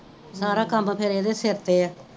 ਸਾਰਾ ਕਾਮ ਫੇਰ ਏਹਦੇ ਸਿਰ ਤੇ ਆ